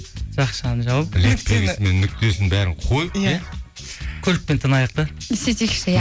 жақшаны жауып леп белгісі мен нүктесін бәрін қойып иә көлікпен тынайық та сөйтейікші иә